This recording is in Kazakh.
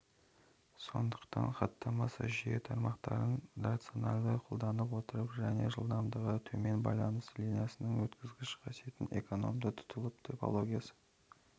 сондықтан хаттамасы жүйе тармақтарын рационалды қолдай отрырып және жылдамдығы төмен байланыс линиясының өткізгіш қасиетін экономды тұтынып топологиясы